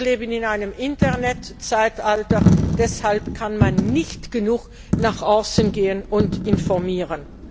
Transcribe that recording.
Wir leben in einem Internetzeitalter, deshalb kann man nicht genug nach außen gehen und informieren.